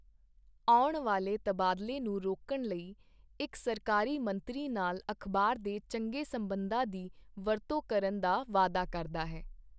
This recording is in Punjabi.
ਆਉਣ ਵਾਲੇ ਤਬਾਦਲੇ ਨੂੰ ਰੋਕਣ ਲਈ ਇੱਕ ਸਰਕਾਰੀ ਮੰਤਰੀ ਨਾਲ ਅਖਬਾਰ ਦੇ ਚੰਗੇ ਸਬੰਧਾਂ ਦੀ ਵਰਤੋਂ ਕਰਨ ਦਾ ਵਾਅਦਾ ਕਰਦਾ ਹੈ।